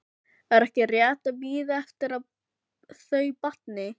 Er ekki rétt að bíða eftir að þau batni?